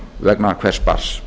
vegna hvers barns